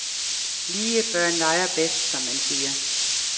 Lige børn leger bedst, som man siger.